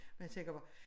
Og jeg tænker bare